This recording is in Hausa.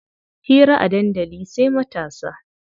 Hira a dandali sai matasa.